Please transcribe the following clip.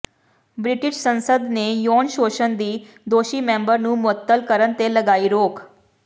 British ਸੰਸਦ ਨੇ ਯੌਨ ਸ਼ੋਸ਼ਣ ਦੇ ਦੋਸ਼ੀ ਮੈਂਬਰ ਨੂੰ ਮੁਅੱਤਲ ਕਰਨ ਤੇ ਲਗਾਈ ਰੋਕ